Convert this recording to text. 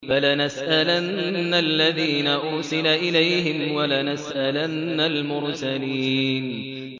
فَلَنَسْأَلَنَّ الَّذِينَ أُرْسِلَ إِلَيْهِمْ وَلَنَسْأَلَنَّ الْمُرْسَلِينَ